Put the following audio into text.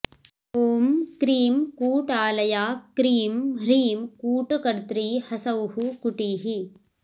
ॐ क्रीं कूटालया क्रीं ह्रीं कूटकर्त्री हसौः कुटीः